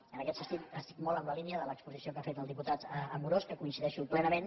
i en aquest sentit estic molt en la línia de l’exposició que ha fet el diputat amorós que hi coincideixo plena·ment